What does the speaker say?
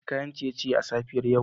Na ci kayan ciye-ciye a safiyar yau